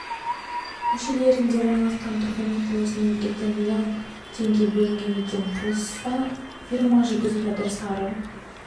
көшелерінде орналасқан тұрғын үйдің құрылысына мемлекеттен млн теңге бөлінген екен құрылысты фирма жүргізіп жатыр сары